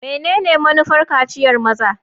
Menene manufar kaciyar maza?